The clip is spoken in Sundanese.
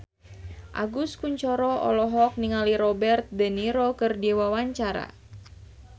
Agus Kuncoro olohok ningali Robert de Niro keur diwawancara